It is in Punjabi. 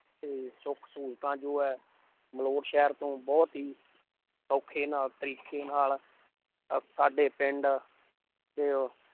ਤੇ ਸੁੱਖ ਸਹੂਲਤਾਂ ਜੋ ਹੈ ਮਲੌਟ ਸ਼ਹਿਰ ਤੋਂ ਬਹੁਤ ਹੀ ਸੌਖੇ ਨਾਲ ਤਰੀਕੇ ਨਾਲ ਅਹ ਸਾਡੇ ਪਿੰਡ ਦੇ